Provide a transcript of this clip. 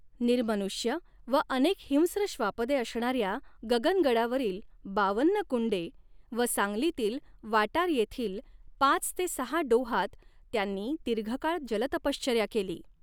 निर्मनुष्य व अनेक हिंस्त्र श्वापदे असणाऱ्या गगनगडावरील बावन्न कु़न्डे व सांगलीतील वाटार येथील पाच ते सहा डोहांत त्यांनी दीर्घकाळ जलतपश्चर्या केली.